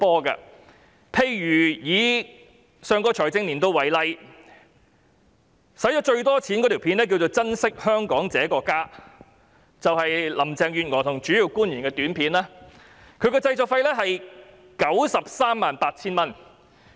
以上個財政年度為例，花錢最多的短片是"珍惜香港這個家"，是行政長官和主要官員一起拍攝，製作費是 938,000 元。